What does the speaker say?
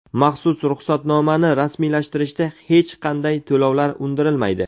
Maxsus ruxsatnoma (stiker)ni rasmiylashtirishda hech qanday to‘lovlar undirilmaydi.